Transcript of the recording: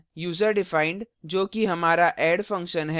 userdefined जो कि हमारा add function है और